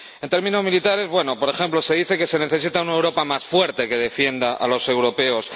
En términos militares, por ejemplo, se dice que se necesita una Europa más fuerte, que defienda a los europeos.